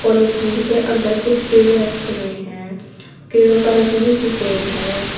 Polythene के अंदर कुछ कीड़े रखे हुए हैं कीड़ों का रंग भी सुफेद है।